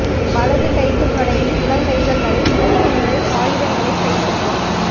வலது கைக்குத் தொடங்கி முழங்கைகள் வரை மூன்று முறை ஆயுதங்களைக் கைப்பற்றும்